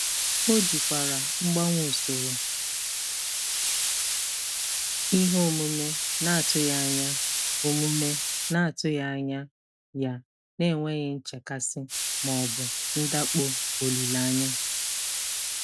O jikwara mgbanwe usoro ihe omume na-atụghị anya omume na-atụghị anya ya n'enweghị nchekasị ma ọ bụ ndakpọ olileanya.